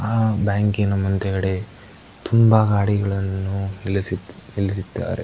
ಆಹ್ಹ್ ಬ್ಯಾಂಕಿ ನ ಮುಂದುಗಡೆ ತುಂಬ ಗಾಡಿಗಳನ್ನು ನಿಲ್ಲಿಸಿ ನಿಲ್ಸಿದ್ದಾರೆ